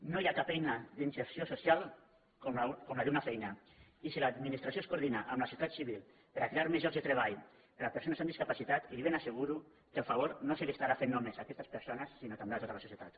no hi ha cap eina d’inserció social com la d’una fei·na i si l’administració es coordina amb la societat ci·vil per a crear més llocs de treball per a persones amb discapacitat li ben asseguro que el favor no s’estarà fent només a aquestes persones sinó també a tota la societat